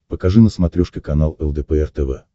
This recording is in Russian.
покажи на смотрешке канал лдпр тв